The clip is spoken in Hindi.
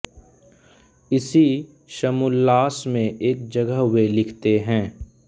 इसी समुल्लास में एक जगह वे लिखते हैं